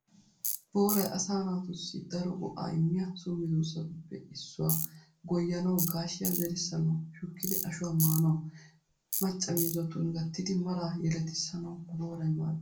Booray asaa naatussi daro go'aa immiya so medoosatuppe issuwaa. Goyyanawu, gaashiyaa yerissanawu, shukkidi ashuwaa maanawu, macca miizzatun gattidi maraa yeletissanawu booray maaddees.